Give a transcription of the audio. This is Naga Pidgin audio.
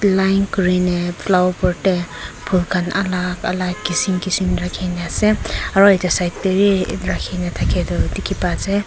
edu line kurina flower pot tae phul khan alak alak kishim kishim rakhi na ase aro edu side tae bi rakhina thakya toh dikhipa ase.